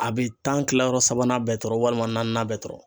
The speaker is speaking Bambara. A be tan kilayɔrɔ sabanan bɛɛ tɔɔrɔ walima naaninan bɛɛ tɔrɔn